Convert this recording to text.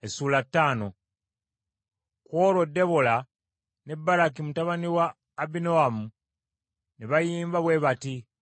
Ku olwo Debola ne Baraki mutabani wa Abinoamu ne bayimba bwe bati: